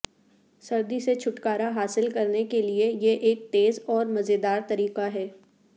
سردی سے چھٹکارا حاصل کرنے کے لئے یہ ایک تیز اور مزیدار طریقہ ہے